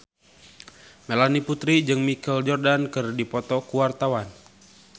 Melanie Putri jeung Michael Jordan keur dipoto ku wartawan